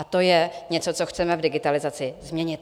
A to je něco, co chceme v digitalizaci změnit.